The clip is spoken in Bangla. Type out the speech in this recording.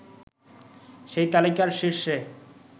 সেই তালিকার শীর্ষে